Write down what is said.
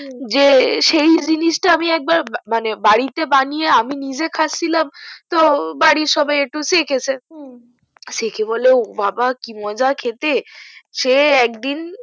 হু যে সেই জিনিস টা আমি একবার মানে বাড়িতে বানিয়ে আমি নিজে খাচ্চিলাম তো বাড়ির সবাই একটু চেকেছে হু চেকে বলে ও বাবা কি মজা খেতে সে একদিন